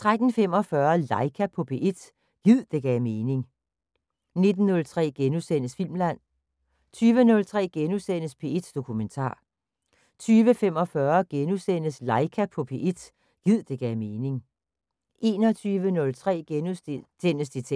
13:45: LAIKA på P1 – gid det gav mening 19:03: Filmland * 20:03: P1 Dokumentar * 20:45: LAIKA på P1 – gid det gav mening * 21:03: Detektor *